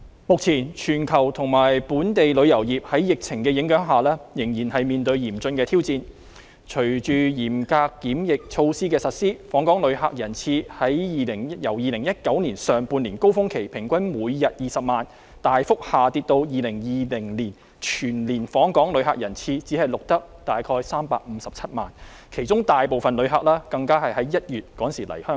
目前全球和本地旅遊業在疫情影響下，仍然面對嚴峻挑戰，隨着嚴格檢疫措施的實施，訪港旅客人次由2019年上半年高峰期，平均每天20萬人次，大幅下跌至2020年全年訪港旅客人次只錄得約357萬人次，其中大部分旅客是在1月來香港。